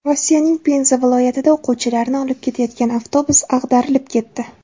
Rossiyaning Penza viloyatida o‘quvchilarni olib ketayotgan avtobus ag‘darilib ketdi.